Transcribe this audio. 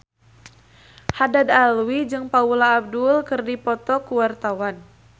Haddad Alwi jeung Paula Abdul keur dipoto ku wartawan